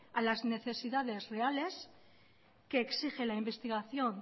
a las necesidades reales que exige la investigación